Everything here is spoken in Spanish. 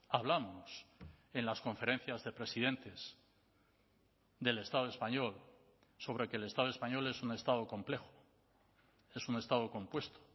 hablamos en las conferencias de presidentes del estado español sobre que el estado español es un estado complejo es un estado compuesto